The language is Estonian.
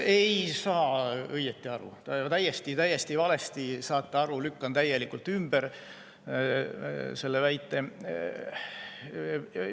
Ei saa õigesti aru, täiesti valesti saate aru, lükkan täielikult ümber selle väite.